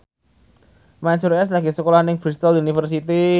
Mansyur S lagi sekolah nang Bristol university